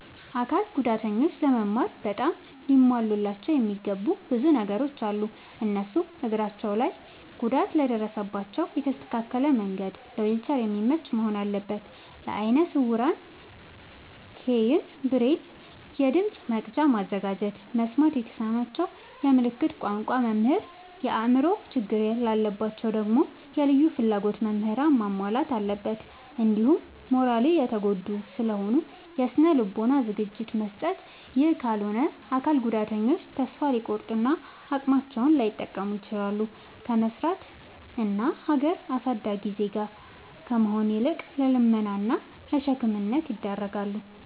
አካል ጉዳተኞች ለመማር በጣም ሊሟሉላቸው የሚገቡ ብዙ ነገሮ አሉ። እነሱም፦ እግራቸው ላይ ጉዳት ለደረሰባቸው የተስተካከለ መንድ ለዊልቸር የሚመች መሆን አለበት። ለአይነ ስውራን ኬይን፣ ብሬል፤ የድምፅ መቅጃ ማዘጋጀት፤ መስማት ለተሳናቸው የምልክት ቋንቋ መምህር፤ የአእምሮ ችግር ላለባቸው ደግሞ የልዩ ፍላጎት ምህራንን ማሟላት አለብትን። እንዲሁም ማራሊ የተጎዱ ስለሆኑ የስነ ልቦና ዝግጅት መስጠት። ይህ ካልሆነ አካል ጉዳተኞች ተሰፋ ሊቆርጡ እና አቅማቸውን ላይጠቀሙ ይችላሉ። ከመስራት እና ሀገር አሳዳጊ ዜጋ ከመሆን ይልቅ ለልመና እና ለሸክምነት ይዳረጋሉ።